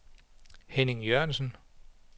Henning Jørgensen